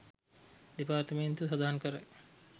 දෙපාර්තමේන්තුව සඳහන් කරයි